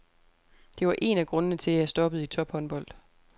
Det var en af grundene til, at jeg stoppede i tophåndbold.